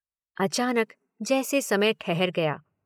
अचानक जैसे समय ठहर गया।